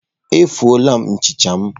Etufuola m nchicha m.